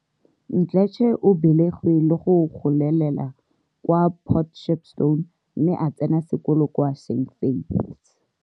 Mdletshe o belegwe le go golela kwa Port Shepstone mme a tsena sekolo kwa St Faiths.